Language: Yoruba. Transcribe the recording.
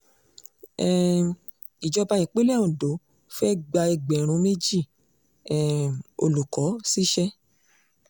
um ìjọba ìpínlẹ̀ ondo fee gba ẹgbẹ̀rún méjì um olùkọ́ ṣíṣe